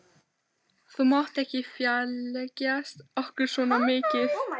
Þú mátt ekki fjarlægjast okkur svona mikið.